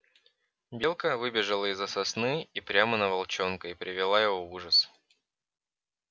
белка выбежала из за сосны и прямо на волчонка и привела его в ужас